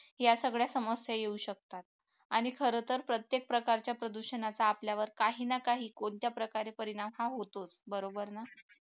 या सगळ्या समस्या येऊ शकतात आणि खरंतर प्रत्येक प्रकारच्या प्रदूषणाचा आपल्यावर काही ना काही कोणत्या प्रकारे परिणाम हा होतोच बरोबर ना